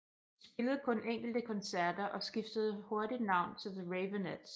De spillede kun enkelte koncerter og skiftede hurtigt navn til The Raveonettes